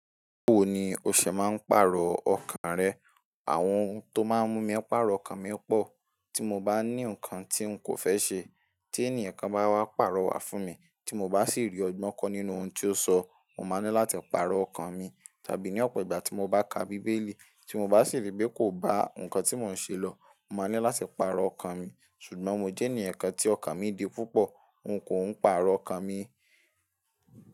Báwo ni o ṣé ma ń parọ̀ ọ́kan rẹ? Àwọn ohun tó máa ń mú mí pàrọ̀ ọkàn mi pọ̀, tí mo bá ní nǹkan tí ǹ kò fẹ́ ṣe, tí ènìyàn kan bá wá pàrọ̀ wá fún mi, tí mo bá sì rí ọgbọ́n kọ́ nínú ohun tí ó sọ, mo máa nílò láti pàrọ̀ ọkàn mi. Tàbí ní ọ̀pọ̀ ìgbà tí mo bá ka bíbélì, tí mo bá sì rí pé kò bá nǹkan tí mò ń ṣe lọ, mo máa nílò láti pàrọ̀ ọkàn mi. Ṣùgbọ́n mo jẹ́ ènìyàn kan tí ọkàn mi di púpọ̀, n kò ń pàrọ̀ ọkàn mi.